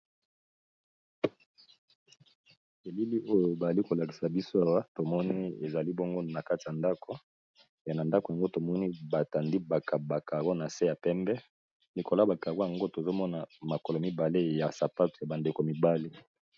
Elili oyo bazolakiza biso Awa tomoni ezali na kati ya ndako batandi ba carreaux nase ya pembe likolo ya ba carreaux yango tozomona makolo mibale ya ba sapato ya mibali.